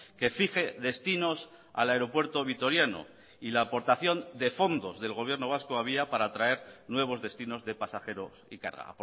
que fije destinos al aeropuerto vitoriano y la aportación de fondos del gobierno vasco había para atraer nuevos destinos de pasajeros y carga